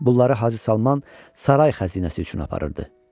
Bunları Hacı Salman saray xəzinəsi üçün aparırdı.